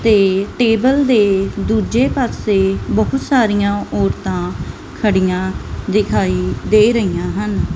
ਤੇ ਟੇਬਲ ਦੇ ਦੂਜੇ ਪਾਸੇ ਬਹੁਤ ਸਾਰੀਆਂ ਔਰਤਾਂ ਖੜੀਆਂ ਦਿਖਾਈ ਦੇ ਰਹੀਆਂ ਹਨ।